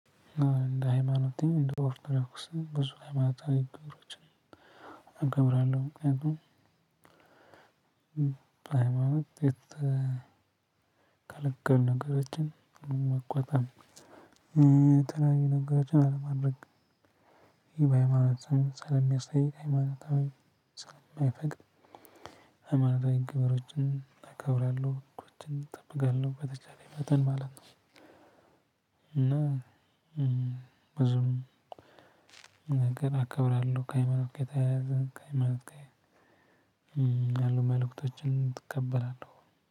አዎን እንደ ሃይማኖቴ እንደ ኦርቶዶክስም ብዙ ሃይማኖታዊ ንግግሮችን አከብራለሁ። ምክንያቱም ሃይማኖት የተከለከሉ ነገሮችን መቆጠብ፤ የተለያዩ ነገሮችን አለማድረግ ይሄ በሃይማኖት ስራዬን ሰለሚያሳይ ሃይማኖቴ ሰለማይፈቅድ ሃይማኖታዊ ግብሮችን አከብራለሁ ህጎችን እጠብቃለሁ በተቻለኝ መጠን ማለት ነው እና ብዙውን ነገር አከብራለሁ ከሃይማኖት ጋ የተያያዘ ከሃይማኖት ጋ ያሉ መልእክቶችን እቀበላለሁ።